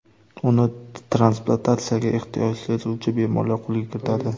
Uni transplantatsiyaga ehtiyoj sezuvchi bemorlar qo‘lga kiritadi.